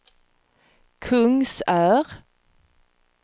Kungsör